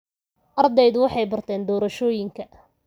Ardaydu waxay barteen doorashooyinka.